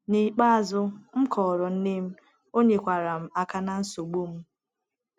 N’ikpeazụ, m kọọrọ nne m, o nyekwaara m aka na nsogbu m.